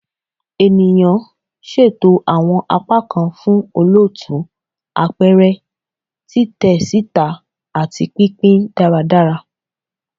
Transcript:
Ènìyàn, ṣeto awọn apakan fun olootu, apẹrẹ, titẹ sita, ati pinpin daradara